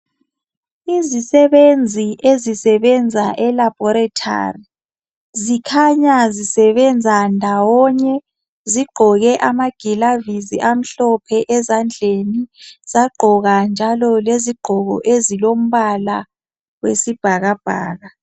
Izisebenzi ezisebenza elabhorethari, zikhanya zisebenza ndawonye. Zigqoke amagilavisi amhlophe ezandleni bagqoka njalo lezigqoko ezilombala wesibhakabhaka.